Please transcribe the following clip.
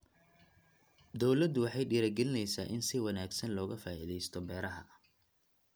Dawladdu waxay dhiirigelinaysaa in si wanaagsan looga faa'iidaysto beeraha.